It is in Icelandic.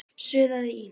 suðaði Ína.